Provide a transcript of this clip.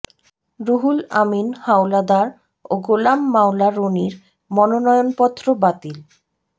রুহুল আমিন হাওলাদার ও গোলাম মাওলা রনির মনোনয়নপত্র বাতিল